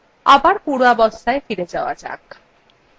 আবার পূর্বাবস্থায় ফিরে যাওয়া যাক